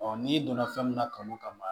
n'i donna fɛn min na kanu kama